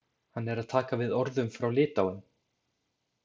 Hann er að taka við orðum frá Litáen.